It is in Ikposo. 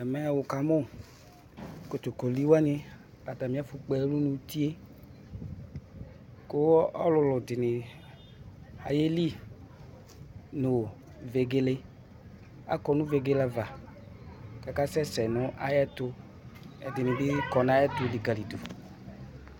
Ɛmɛ wʋkamʋ kotokolɩ wanɩ atalɩ ɛfʋ kpɔ ɛlʋ nʋ uti, kʋ ɔlʋlʋ dɩnɩ ayelɩ nʋ vegele, akɔ nʋ vegele ava, kʋ akasɛsɛ nʋ ayʋ ɛtʋ, ɛdɩnɩ bɩ kɔnʋ ayʋ ɛtʋ likali dʋ.